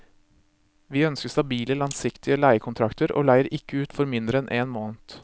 Vi ønsker stabile langsiktige leiekontrakter, og leier ikke ut for mindre enn en måned.